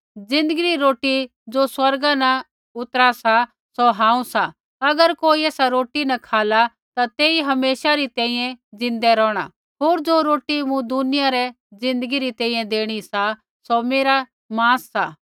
ज़िन्दगी री रोटी ज़ो स्वर्गा न उतरा सा सौ हांऊँ सा अगर कोई ऐसा रोटी न खाला ता तेई हमेशा री तैंईंयैं ज़िन्दै रोहणा सा होर ज़ो रोटी मूँ दुनिया रै ज़िन्दगी री तैंईंयैं देणी सा सौ मेरा मांस सा